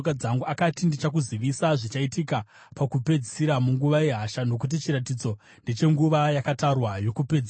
Akati, “Ndichakuzivisa zvichaitika pakupedzisira munguva yehasha, nokuti chiratidzo ndechenguva yakatarwa yokupedzisira.